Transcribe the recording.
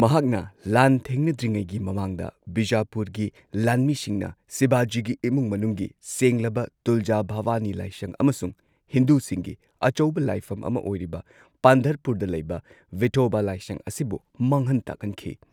ꯃꯍꯥꯛꯅ ꯂꯥꯟꯊꯦꯡꯅꯗ꯭ꯔꯤꯉꯩꯒꯤ ꯃꯃꯥꯡꯗ ꯕꯤꯖꯥꯄꯨꯔꯒꯤ ꯂꯥꯟꯃꯤꯁꯤꯡꯅ ꯁꯤꯕꯥꯖꯤꯒꯤ ꯏꯃꯨꯡ ꯃꯅꯨꯡꯒꯤ ꯁꯦꯡꯂꯕ ꯇꯨꯜꯖꯥ ꯚꯕꯅꯤ ꯂꯥꯢꯁꯪ ꯑꯃꯁꯨꯡ ꯍꯤꯟꯗꯨꯁꯤꯡꯒꯤ ꯑꯆꯧꯕ ꯂꯥꯏꯐꯝ ꯑꯃ ꯑꯣꯏꯔꯤꯕ ꯄꯥꯟꯙꯔꯄꯨꯔꯗ ꯂꯩꯕ ꯚꯤꯊꯣꯕ ꯂꯥꯏꯁꯪ ꯑꯁꯤꯕꯨ ꯃꯥꯡꯍꯟ ꯇꯥꯛꯍꯟꯈꯤ꯫